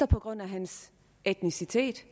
på grund af hans etnicitet